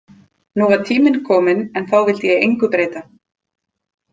Nú var tíminn kominn en þá vildi ég engu breyta.